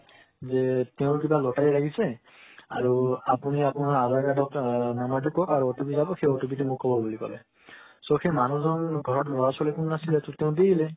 যে তেওৰ কিৱা লটাৰি লাগিছে আৰু আপুনি আপোনাৰ aadhar card ৰ number টো কোক সেই OTP OTP টো মোক কৱ বুলি কলে so সেই মানুহ জন ঘৰত লৰা ছোৱালী কনো নাছিলে তো তেও দি দিলে